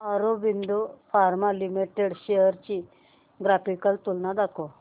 Aurobindo pharma limited shares ची graphical तुलना दाखव